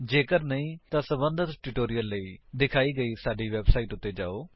ਜੇਕਰ ਨਹੀਂ ਤਾਂ ਸਬੰਧਤ ਟਿਊਟੋਰਿਅਲ ਲਈ ਦਿਖਾਈ ਗਈ ਸਾਡੀ ਵੇਬਸਾਈਟ ਉੱਤੇ ਜਾਓ